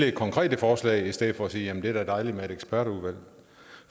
et konkret forslag i stedet for at sige jamen det er da dejligt med et ekspertudvalg